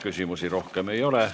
Küsimusi rohkem ei ole.